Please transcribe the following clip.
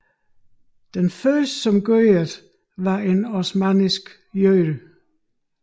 Den første som gjorde dette var en osmannisk jøde